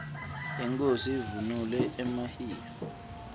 inkhosi ivunule emahiya